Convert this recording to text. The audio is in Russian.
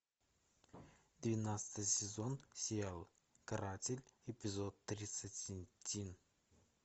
двенадцатый сезон сериал каратель эпизод тридцать один